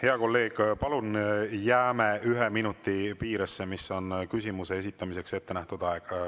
Hea kolleeg, palun jääme ühe minuti piiresse, mis on küsimuse esitamiseks ettenähtud aeg.